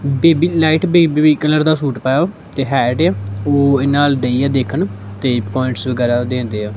Baby light baby pink colour ਦਾ suit ਪਾਇਆ ਹੋਇਆ ਤੇ ਹੈਟ ਆ ਉਹ ਇਹਨਾਂ ਵੱਲ ਦਈ ਹੈ ਦੇਖਣ ਤੇ ਪੁਆਇੰਟਸ ਵਗੈਰਾ ਦਿੰਦੇ ਆ।